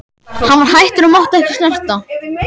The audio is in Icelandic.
Hann var hættur og mátti ekki snerta.